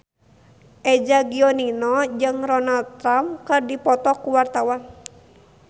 Eza Gionino jeung Donald Trump keur dipoto ku wartawan